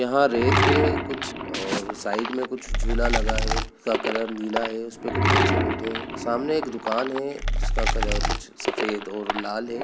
यहाँ रेत है कुछ साइड में कुछ झूला लगा है जिसका कलर नीला है उसपे कुछ बच्चे बेठे है सामने एक दुकान है जिसका कलर कुछ सफ़ेद और लाल है।